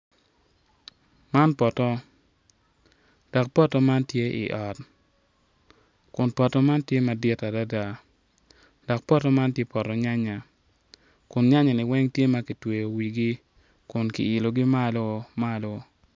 Man kono tye poto anyogi, anyogi man kono odongo mabeco adada pot anyogi man kono tye rangi ma alum alum anyogi miyo itwa cam i yo mapol maclo moko. Anyogi bene ka kibulu bene ki mwodo amwoda.